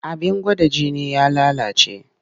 Abin gwada jini ya lalace.